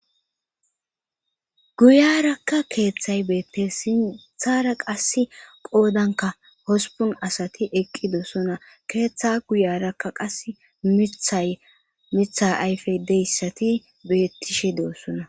guyarakka keeththay beette sinthara qas qoodanka hosipun asati eqqidosona keeththa guyarakka qas mithay mitha ayfe deyssati beettishe deossona